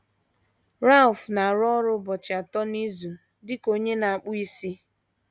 Ralph na - arụ ọrụ ụbọchị atọ n’izu dị ka onye na - akpụ isi.